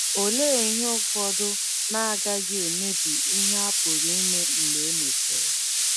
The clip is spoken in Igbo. Olee ihe ụfọdụ na - agaghị emebi ihe a pụrụ ime mgbe e mesiri?